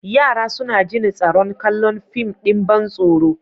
Yara suna jin tsaron kallon fim ɗin ban tsaro.